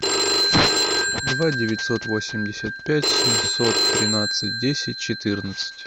два девятьсот восемьдесят пять семьсот тринадцать десять четырнадцать